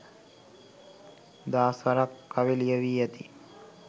දහස් වරක් කවි ලියැවි ඇති